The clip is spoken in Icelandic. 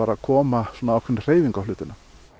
að koma ákveðinni hreyfingu á hlutina